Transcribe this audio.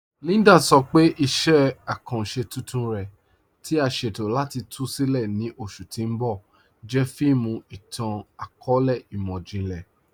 Líndà sọ pé iṣẹ̀ akanṣẹ tuntun rẹ̀, tí à sẹ̀tọ̀ láti tú sílẹ̀ ní oṣù tì n bọ̀, jẹ́ fíìmù ìtàn-akọọlẹ̀ imọ̀jìnlẹ̀.